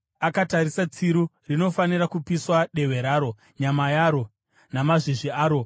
Akatarisa, tsiru rinofanira kupiswa, dehwe raro, nyama yaro namazvizvi aro.